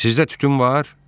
Sizdə tütün var?